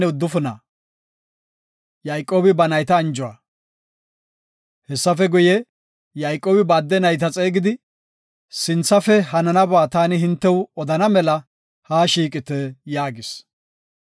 Hessafe guye, Yayqoobi ba adde nayta xeegidi, “Sinthafe hananaba taani hintew odana mela ha shiiqite” yaagis.